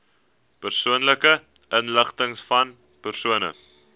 persoonlike inligtingvan persone